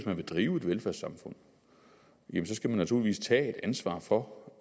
man vil drive et velfærdssamfund skal man naturligvis tage ansvar for